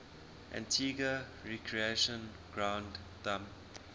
antigua recreation ground thumb